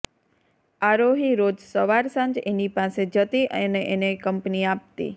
આરોહી રોજ સવાર સાંજ એની પાસે જતી અને એને કંપની આપતી